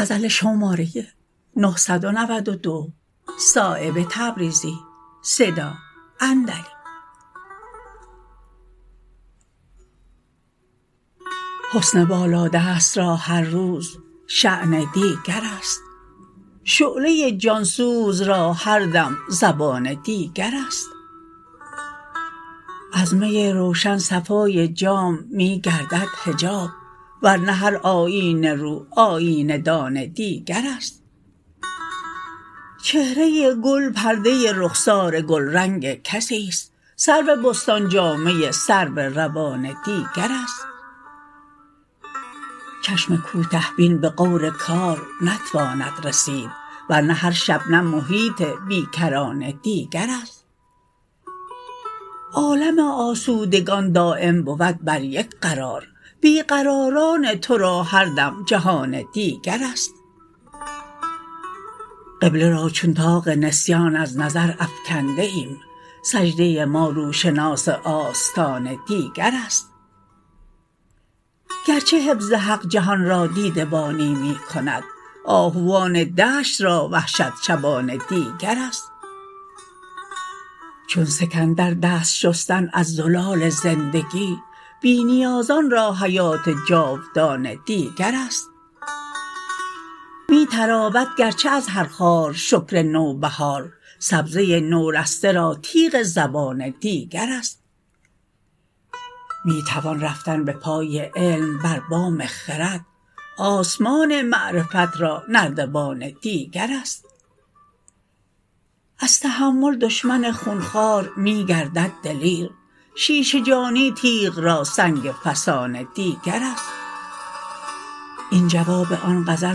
حسن بالادست را هر روزشان دیگرست شعله جانسوز را هر دم زبان دیگرست از می روشن صفای جام می گردد حجاب ورنه هر آیینه رو آیینه دان دیگرست چهره گل پرده رخسار گلرنگ کسی است سرو بستان جامه سرو روان دیگرست چشم کوته بین به غور کار نتواند رسید ورنه هر شبنم محیط بیکران دیگرست عالم آسودگان دایم بود بر یک قرار بی قراران ترا هر دم جهان دیگرست قبله را چون طاق نسیان از نظر افکنده ایم سجده ما روشناس آستان دیگرست گرچه حفظ حق جهان را دیده بانی می کند آهوان دشت را وحشت شبان دیگرست چون سکندر دست شستن از زلال زندگی بی نیازان را حیات جاودان دیگرست می تراود گرچه از هر خار شکر نوبهار سبزه نورسته را تیغ زبان دیگرست می توان رفتن به پای علم بر بام خرد آسمان معرفت را نردبان دیگرست از تحمل دشمن خونخوار می گردد دلیر شیشه جانی تیغ را سنگ فسان دیگرست این جواب آن غزل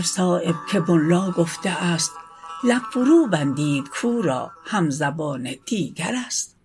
صایب که ملا گفته است لب فرو بندید کاو را همزبان دیگرست